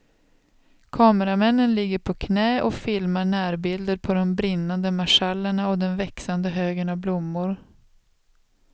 Kameramännen ligger på knä och filmar närbilder på de brinnande marschallerna och den växande högen av blommor.